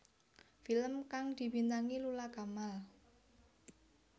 Film kang dibintangi Lula Kamal